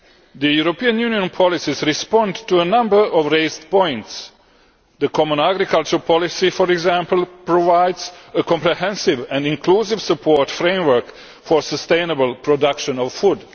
The European Union policies respond to a number of points raised. The common agricultural policy, for example, provides a comprehensive and inclusive support framework for the sustainable production of food.